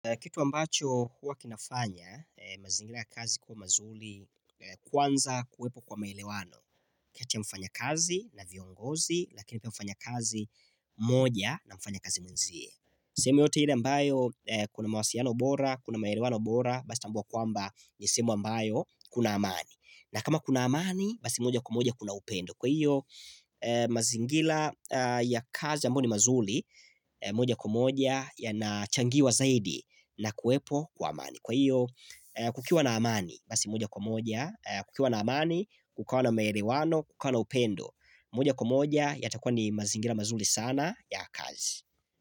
Kitu ambacho huwa kinafanya, mazingira ya kazi kuwa mazuri kwanza kuwepo kwa maelewano. Kati ya mfanyakazi na viongozi, lakini pia mfanya kazi mmoja na mfanyakazi mwenzie. Sehemu yote ile mbayo, kuna mawasiano bora, kuna maelewano bora, basi tambuwa kwamba ni sehemu mbayo, kuna amani. Na kama kuna amani, basi moja kwa moja kuna upendo. Kwa hiyo mazingila ya kazi ambayo mazuri moja kwa moja yanachangiwa zaidi na kuwepo kwa amani Kwa hiyo kukiwa na amani basi moja kwa moja kukiwa na amani kukawa na melewano, kukawa na upendo moja kwa moja yatakua ni mazingila mazuri sana ya kazi.